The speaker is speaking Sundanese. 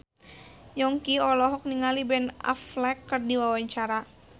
Yongki olohok ningali Ben Affleck keur diwawancara